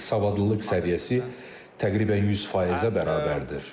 Savadlılıq səviyyəsi təqribən 100%-ə bərabərdir.